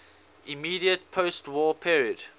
immediate postwar period